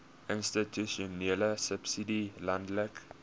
institusionele subsidie landelike